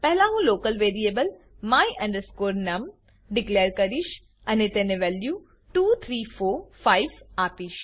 પહેલા હું local variable my num declare કરીશ અને તેને વેલ્યુ 2345 આપીશ